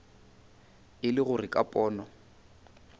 e le gore ka pono